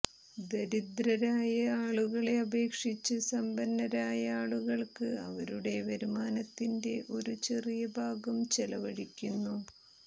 ദരിദ്രരായ ആളുകളെ അപേക്ഷിച്ച് സമ്പന്നരായ ആളുകൾക്ക് അവരുടെ വരുമാനത്തിന്റെ ഒരു ചെറിയ ഭാഗം ചെലവഴിക്കുന്നു